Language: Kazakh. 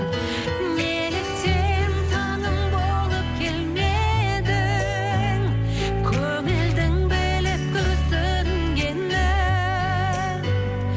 неліктен таңым болып келмедің көңілдің біліп күрсінгенін